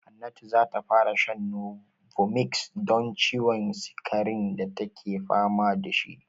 Hannatu za ta fara shan novomix don ciwon sikarin da take fama da shi.